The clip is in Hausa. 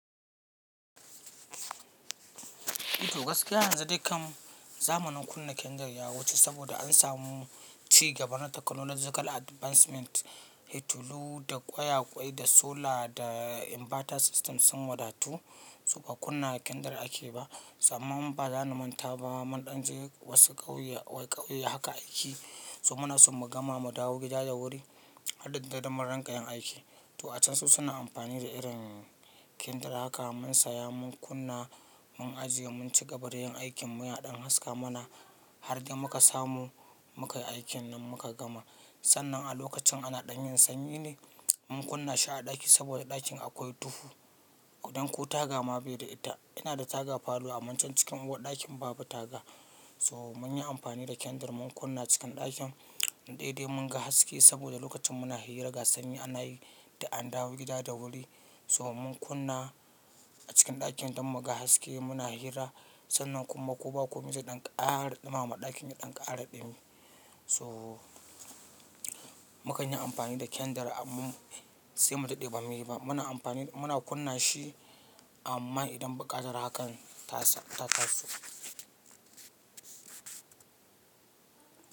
Ito gaskiya, yanzu dai kan zamanin kunna kendir ya wuce saboda an samu ci gaban na technology advancement, litulu da ƙwayaƙwai da solar da inverter system sun wadatu, su ba kunna kendir ake ba. Tsamman ba za mu manta ba, mun ɗan je wasu ƙauye, wai ƙauye haka ake yi, so muna so mu gama mu dawo gida da wuri, harɗin dadin mun ranka yin aiki. To a can su suna amfani da irin kendir haka mun saya mun kunna mun ajiye mun ci gaba da yin aikin mu yana ɗan haska mana har da muka samu muka yi aikin nan muka gama. Sannan a lokacin ana ɗanyin sanyi ne mun kunna shi a ɗaki saboda ɗakin akwai duhu. Kudan ko taga ma bai da ita. Ina da taga falo amma can cikin uwar ɗakin babu taga. So mun yi amfani da kendir mun kunna cikin ɗakin. Daidai mun ga haske saboda lokacin muna hira ga sanyi ana yi da an dawo gida da wuri. So mun kunna a cikin ɗakin don mu ga haske muna hira. Sannan kuma ko ba komi ɗan ƙara ɗuma ma ɗakin ya ɗan ƙara ɗumi. So mukan yi amfani da kendir amma sai mu dade bamu yiba. Muna amfani da muna kunna shi amma idan buƙatar hakan ta taso.